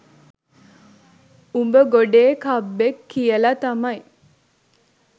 උඹ ගොඩේ කබ්බෙක් කියලා තමයි.